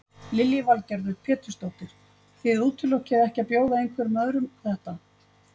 Lillý Valgerður Pétursdóttir: Þið útilokið ekki að bjóða einhverjum öðrum þetta?